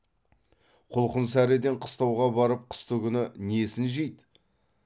құлқын сәріден қыстауға барып қыстыгүні несін жейді